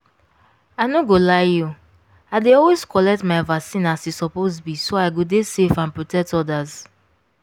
i no go lie you i dey always collect my vaccine as e suppose be so i go dey safe and protect others.